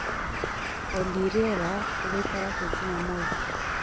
olly rĩera rĩgaĩkara atĩa jũmamothĩ